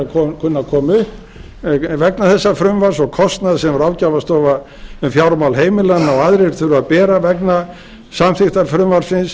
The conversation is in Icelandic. kunni að koma upp vegna þessa frumvarps og kostnaður sem ráðgjafarstofa um fjármál heimilanna og aðrir þurfa að bera vegna samþykktar frumvarpsins